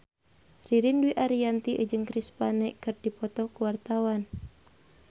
Ririn Dwi Ariyanti jeung Chris Pane keur dipoto ku wartawan